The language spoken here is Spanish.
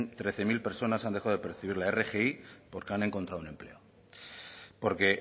trece mil personas han dejado de percibir la rgi porque han encontrado un empleo porque